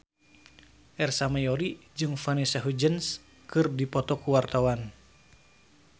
Ersa Mayori jeung Vanessa Hudgens keur dipoto ku wartawan